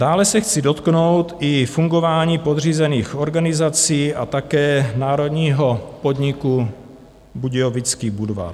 Dále se chci dotknout i fungování podřízených organizací a také národního podniku Budějovický Budvar.